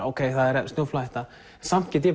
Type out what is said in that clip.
ókei það er snjóflóðahætta samt get ég